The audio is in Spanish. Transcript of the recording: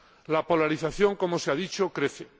La polarización, como se ha dicho, crece.